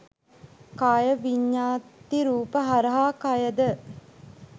කාය විඤ්ඤත්ති රූප හරහා කයද